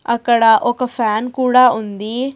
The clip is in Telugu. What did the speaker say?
అక్కడ ఒక ఫ్యాన్ కూడా ఉంది.